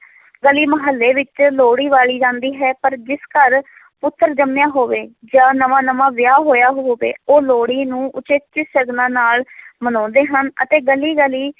ਗਲੀ ਮਹੱਲੇ ਵਿੱਚ ਲੋਹੜੀ ਬਾਲੀ ਜਾਂਦੀ ਹੈ, ਪਰ ਜਿਸ ਘਰ ਪੁੱਤਰ ਜੰਮਿਆ ਹੋਵੇ ਜਾਂ ਨਵਾਂ ਨਵਾਂ ਵਿਆਹ ਹੋਇਆ ਹੋਵੇ, ਉਹ ਲੋਹੜੀ ਨੂੰ ਉਚੇਚੇ ਸ਼ਗਨਾਂ ਨਾਲ ਮਨਾਉਂਦੇ ਹਨ ਅਤੇ ਗਲੀ ਗਲੀ